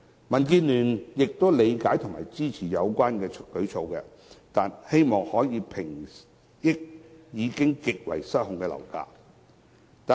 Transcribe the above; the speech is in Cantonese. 民建聯理解及支持有關舉措，希望可以平抑已經失控的樓價。